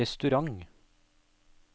restaurant